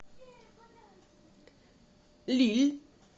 лилль